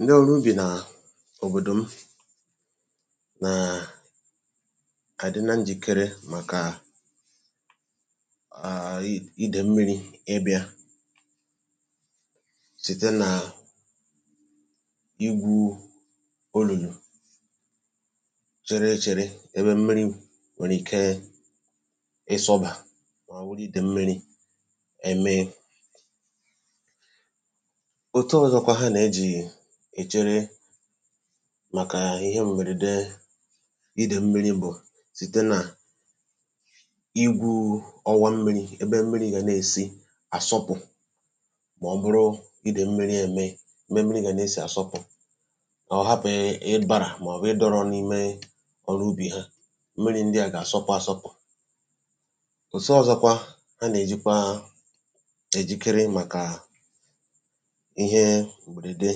Ndị ọrụ́ ubi n’òbòdò m na-adịkarị njikere tupù ìdèm̀mírī site n’ígwú olùlù n’ebe mmírī nwere ike ịsọ̀bà iji bụrụ́ ebe e ji echekwa ya n’oge ihe m̀bèrèdé. Ụzọ̀ ọzọ iji gbochie ìdèm̀mírī bụ́ site n’ígwú ọwa mmírī ka mmírī wee sị̀ apụ̀ um kama ọ ga-anọ ọdụ̀ ma ọ bụ̀ dọ̀rọ̀ n’ime ubi ha. Nke a na-enyere ka mmírī gbara ọsọ nke ọma. Ụzọ̀ ọzọ maka njikere megide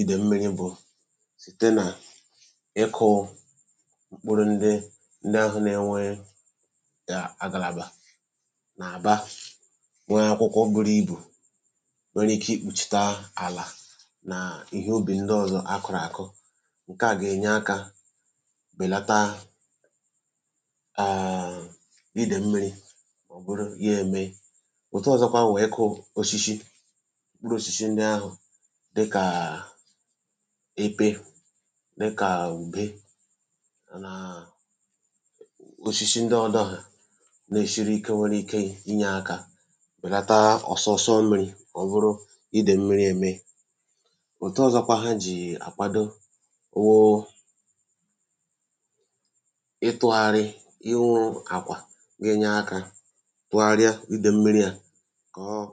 ìdèm̀mírī bụ́ site n’ịkụ́ mkpụrụ̀ ndị na-adịghị enwe agàlàbà sara mbara kama ndị nwere akwụkwọ mkpụrụ̀ dị́rị̀rị̀ na-èkpùchì àlà jikọtara ya na ihe ubi ndị ọzọ e kụrụ ọnụ. Nke a na-enyere aka belata mmetụtà ìdèm̀mírī n’ala ubi. Ha na-akụ́kwa osisi dịká ùgbè ma ọ bụ̀ osisi akì ma ọ bụ̀kwa osisi ndị siri ike ọzọ nke nwere ike inyere aka belata ọsọ̀sọ̀ mmírī mgbe ìdèm̀mírī bịara. N’ịgbàghachi ha na-ewu ụfọdụ́ ugbò ma ọ bụ̀ akpụ̀ àkwà ugbò nke na-enyere aka tọ̀gharia mmírī ìdèm̀mírī um ma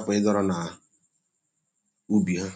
gbochie ya ịdọ̀rọ̀ n’ala ubi ha.